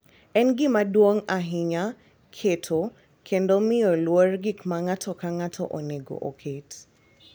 En gima duong’ ahinya keto kendo miyo luor gik ma ng’ato ka ng’ato onego oket.